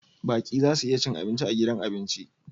Baƙi za su iya cin abinci a gidan abinci